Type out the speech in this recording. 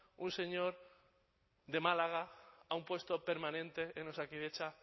un el señor de málaga a un puesto permanente en osakidetza